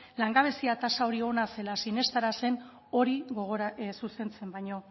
langabezia tasa hori ona zela sinestarazten hori zuzentzen baino